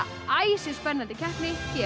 æsispennandi keppni hér